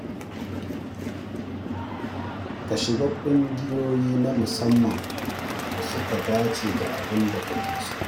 Ka shiga ƙungiyoyi na musamman da suka dace da abin da kake so.